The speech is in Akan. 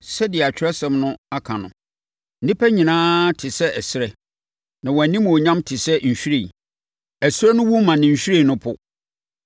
Sɛdeɛ Atwerɛsɛm no aka no, “Nnipa nyinaa te sɛ ɛserɛ; na wɔn animuonyam te sɛ nhwiren. Ɛserɛ no wu ma ne nhwiren no po,